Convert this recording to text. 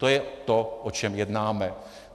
To je to, o čem jednáme.